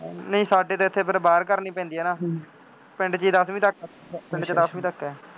ਨਹੀਂ ਸਾਡੇ ਤਾਂ ਇੱਥੇ ਫੇਰ ਬਾਹਰ ਕਰਨੀ ਪੈਂਦੀ ਹੈ ਨਾ, ਪਿੰਡ ਚ ਦੱਸਵੀਂ ਤੱਕ ਹੈ, ਪਿੰਡ ਚ ਦੱਸਵੀਂ ਤੱਕ ਹੈ।